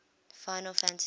final fantasy